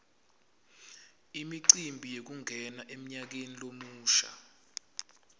imicimbi yekungena emnyakeni lomusha